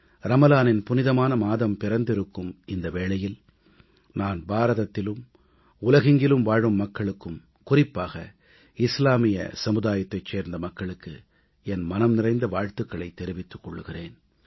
ரமலானின் புனிதமான மாதம் பிறந்திருக்கும் இந்த வேளையில் நான் பாரதத்திலும் உலகெங்கிலும் வாழும் மக்களுக்கு குறிப்பாக இஸ்லாமிய சமுதாயத்தைச் சேர்ந்த மக்களுக்கு என் மனம் நிறைந்த வாழ்த்துக்களைத் தெரிவித்துக் கொள்கிறேன்